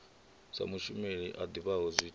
sa mushumeli a ḓivhaho zwithithisi